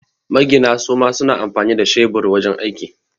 Magina suma suna amfani da shebur wajan aiki